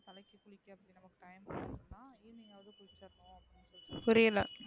புரியல,